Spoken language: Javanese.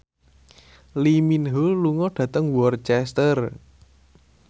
Lee Min Ho lunga dhateng Worcester